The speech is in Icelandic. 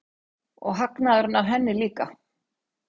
Og hagnaðurinn af henni líka.